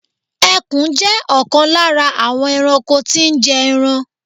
Ẹkùn jẹ́ ọ̀kan lára àwọn ẹranko tí ń jé ẹran.